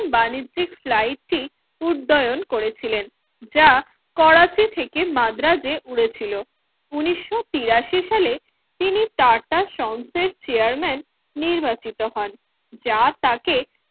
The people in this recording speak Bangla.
বাণিজ্যিক life টি উদয়ন করেছিলেন যা করাচি থেকে মাদ্রাজে পড়েছিল উনিশও তিরাশি সালে তিনি টাটা sons এর chairman নির্বাচিত হন যা তাকে